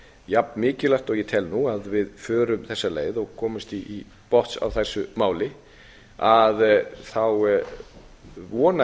jafn mikilvægt og ég tel nú að við förum þessa leið og komumst til botns í þessu máli vona